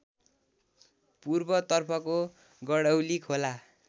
पूर्वतर्फको गडौली खोला